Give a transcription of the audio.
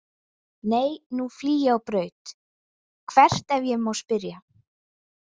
Nei nú flýg ég á braut „Hvert ef ég má spyrja“?